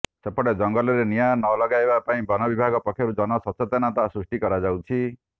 ସେପଟେ ଜଙ୍ଗଲରେ ନିଆଁ ନଲଗାଇବା ପାଇଁ ବନ ବିଭାଗ ପକ୍ଷରୁ ଜନସଚେତନତା ସୃଷ୍ଟି କରାଯାଉଛିା